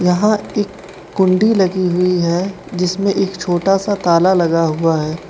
यहां एक कुंडी लगी हुई है जिसमें एक छोटा सा ताला लगा हुआ है।